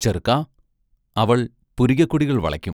ചെറ്ക്കാ അവൾ പുരികക്കൊടികൾ വളയ്ക്കും.